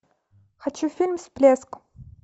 хочу фильм всплеск